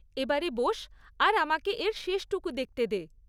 এবারে বোস, আর আমাকে এর শেষটুকু দেখতে দে।